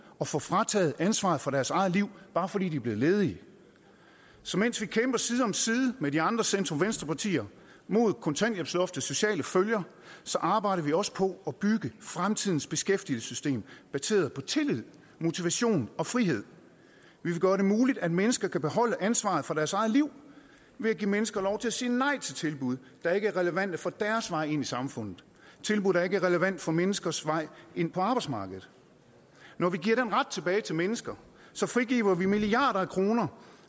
at få frataget ansvaret for deres eget liv bare fordi de er blevet ledige så mens vi kæmper side om side med de andre centrum venstre partier mod kontanthjælpsloftets sociale følger arbejder vi også på at bygge fremtidens beskæftigelsessystem baseret på tillid motivation og frihed vi vil gøre det muligt at mennesker kan beholde ansvaret for deres eget liv ved at give mennesker lov til at sige nej til tilbud der ikke er relevante for deres vej ind i samfundet tilbud der ikke er relevante for menneskers vej ind på arbejdsmarkedet når vi giver den ret tilbage til mennesker frigiver vi milliarder af kroner